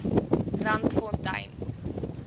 randfontein